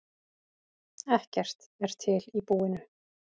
Ekkert er til í búinu.